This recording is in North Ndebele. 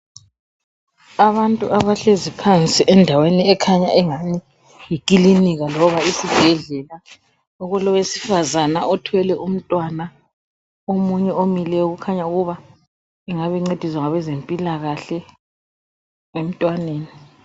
Abantu abahlezi phansi endaweni ekhanya engani yi clinika loba isibhedlela okulowesifazana othwele umntwana. Omunye omileyo ukhanya ukuba engabe encediswa ngabezempila kahle emntwaneni.